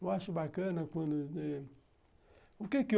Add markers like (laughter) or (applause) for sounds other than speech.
Eu acho bacana quando... O que que? (unintelligible)